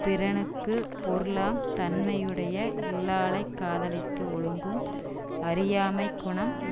பிறனுக்குப் பொருளாம் தன்மையுடைய இல்லாளைக் காதலித்து ஒழுகும் அறியாமைக் குணம்